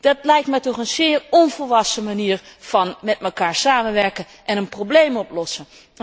Dat lijkt mij toch een zeer onvolwassen manier van met elkaar samenwerken en een probleem oplossen.